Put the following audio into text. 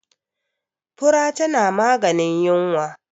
fura tana maganin yinwa